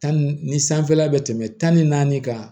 Tan ni sanfɛla bɛ tɛmɛ tan ni naani kan